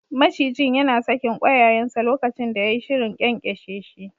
Macijin yana sakin ƙwayayensa lokacin da yai shirin ƙyanƙyashe shi.